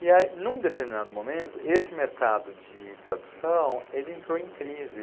E aí, num determinado momento, esse mercado de tradução, ele entrou em crise.